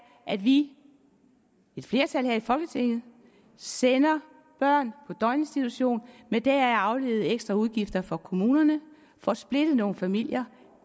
at vi et flertal her i folketinget sender børn på døgninstitution med deraf afledede ekstraudgifter for kommunerne får splittet nogle familier